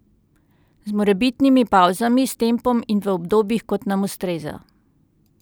Z morebitnimi pavzami, s tempom in v obdobjih, kot nam ustreza.